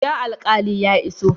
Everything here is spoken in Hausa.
Ya alqali ya iso?